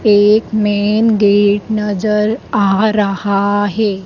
एक main gate नजर आ रहा है।